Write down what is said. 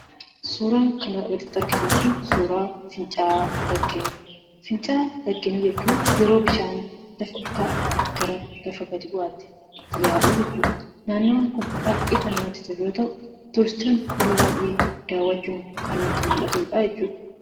Suuraan kanaa gaditti argitan kun suuraa fincaa'aa, laggeen yeroo bishaan lafa olka'aa garaagaraa irraa yaa'u jechuudha. Naannoon kun baay'ee kan namatti tolu yoo ta'u, turistiin yeroo baay'ee daawwatu kan nutti mul'atudha.